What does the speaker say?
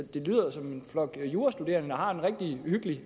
det lyder som en flok jurastuderende der har en rigtig hyggelig